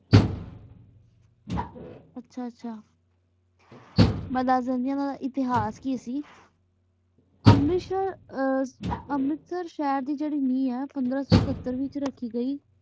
ਆਚਾ ਆਚਾ ਬੜਾ ਜੰਜੇਆਂ ਨਾਲ ਹੇਥਾਸ ਕੀ ਸੇ ਅਮ੍ਰੇਟ ਸੇਰ ਅਮੇਰਤ ਸਹਰ ਦੇ ਜੀਰੀ ਨੀ ਆਂ ਪੰਦਰਾ ਸੋ ਸਤਤਰ ਚ ਜੀਰੀ ਰਾਖੀ ਸੀਗੀ